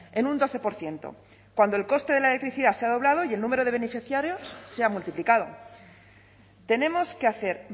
en un doce por ciento cuando el coste de la electricidad se ha doblado y el número de beneficiarios se ha multiplicado tenemos que hacer